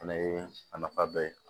Fɛnɛ ye a nafa dɔ ye